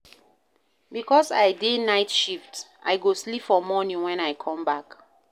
Because I dey night shift, I go sleep for morning wen I come back.